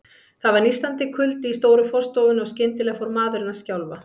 Það var nístandi kuldi í stóru forstofunni, og skyndilega fór maðurinn að skjálfa.